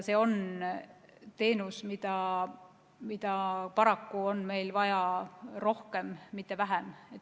See on teenus, mida paraku on meil vaja rohkem, mitte vähem.